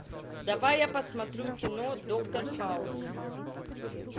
давай я посмотрю кино доктор хаус